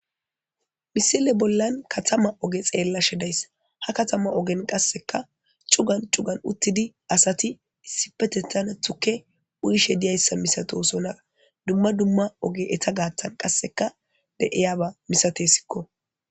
misile bollan katama oge xeella shedays ha katama ogen qasseka cugan cugan uttidi asati issipetetana tukke uyishe diyayssa misatosonara dumma dumma oge eta gaattan qasseka deiyaba misate sikko